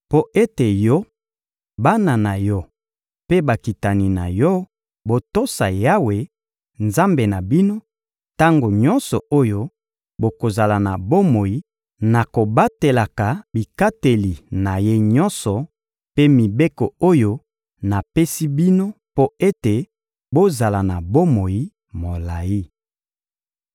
mpo ete yo, bana na yo mpe bakitani na yo, botosa Yawe, Nzambe na bino, tango nyonso oyo bokozala na bomoi na kobatelaka bikateli na Ye nyonso mpe mibeko oyo napesi bino mpo ete bozala na bomoi molayi.